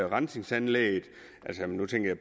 rensningsanlægget nu tænker